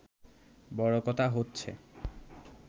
বড় কথা হচ্ছে